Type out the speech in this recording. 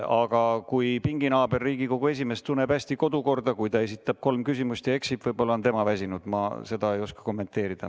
Aga kui pinginaaber, Riigikogu esimees, kes tunneb hästi kodukorda, esitab kolm küsimust ning eksib, võib-olla on tema väsinud, seda ma ei oska kommenteerida.